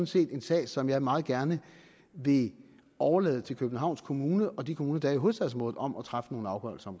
set en sag som jeg meget gerne vil overlade til københavns kommune og de kommuner der er i hovedstadsområdet om at træffe nogle afgørelser